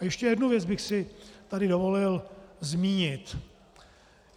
A ještě jednu věc bych si tady dovolil zmínit.